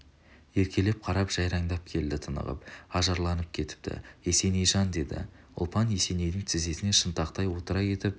еркелей қарап жайраңдай келді тынығып ажарланып кетіпті есенейжан деді ұлпан есенейдің тізесіне шынтақтай отыра кетіп